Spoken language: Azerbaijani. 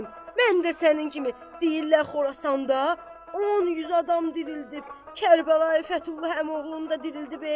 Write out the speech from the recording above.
Mən də sənin kimi, deyirlər Xorasanda on-yüz adam dirilib, Kərbəlayı Fətullah əmioğlunda dirilib.